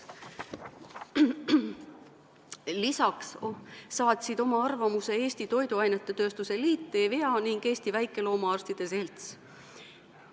Lisaks saatsid oma arvamuse Eesti Toiduainetööstuse Liit, EVEA ning Eesti Väikeloomaarstide Selts.